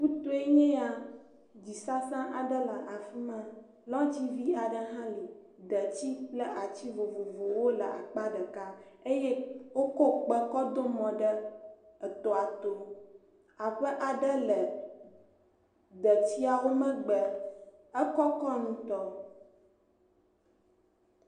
Ƒutoe nye ya. Dzisasa aɖe le afi ma. Lɔ̃tsi vi aɖe hã li. Detsi kple ati vovovowo le akpa ɖeka eye wokɔ kpe kɔ do mɔ ɖe etɔa to. Aƒe aɖe le detsiawo megbe. Ekɔkɔk ŋutɔ.